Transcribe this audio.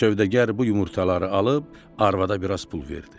Sövdəgar bu yumurtaları alıb arvada biraz pul verdi.